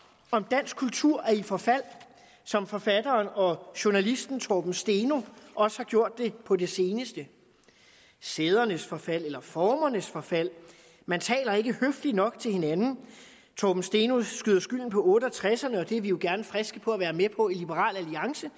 om dansk kultur er i forfald som forfatteren og journalisten torben steno også har gjort på det seneste sædernes forfald eller formernes forfald man taler ikke høfligt nok til hinanden torben steno skyder skylden på otte og tres og det er vi jo gerne friske på at være med på i liberal alliance